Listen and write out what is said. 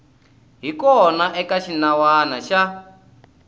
hi kona eka xinawana xa